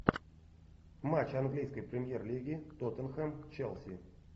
матч английской премьер лиги тоттенхэм челси